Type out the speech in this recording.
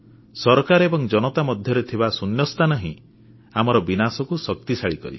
ସରକାର ଏବଂ ଜନତା ମଧ୍ୟରେ ଥିବା ଶୂନ୍ୟସ୍ଥାନ ହିଁ ଆମର ବିନାଶକୁ ଡାକିଆଣେ